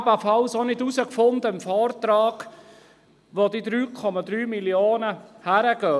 Ich habe im Vortrag ebenfalls nicht lesen können, wo die 3,3 Mio. Franken hingehen.